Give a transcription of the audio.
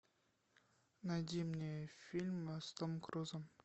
найди мне фильм с томом крузом